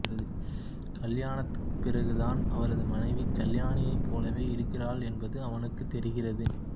திருமணத்திற்குப் பிறகுதான் அவரது மனைவி கல்யாணியைப் போலவே இருக்கிறாள் என்பது அவனுக்குத் தெரிகிறது